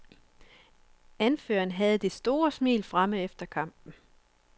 Anføreren havde det store smil fremme efter kampen.